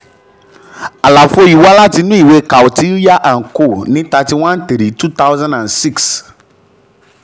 àlàfo yìí wá láti inú ìwé kautilya and co ní thirty one three twothousand and six